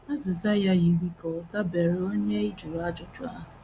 Azịza ya yiri ka ọ dabeere n’onye ị jụrụ ajụjụ ahụ.